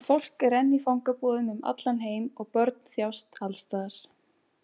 Fólk er enn í fangabúðum um allan heim og börn þjást alls staðar.